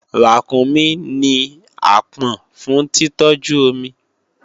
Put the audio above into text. Ràkúnmí ní àpọ̀n fún títọ́jú omi